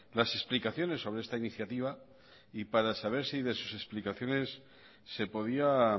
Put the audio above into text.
las explicaciones sobre esta iniciativa y para saber si de sus explicaciones se podía